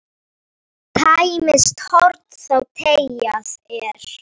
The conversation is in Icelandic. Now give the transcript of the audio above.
Tæmist horn þá teygað er.